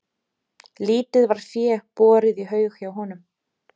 Lítið var fé borið í haug hjá honum.